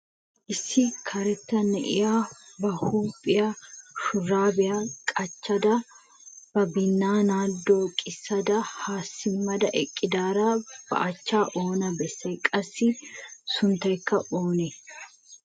Issi karetta na'iyaa ba huphiyan shurbbiya qachchada ba binaanakka dooqisada ha simmada eqqidaara ba achcha oona bessay? qassi sunttaykka oonee ?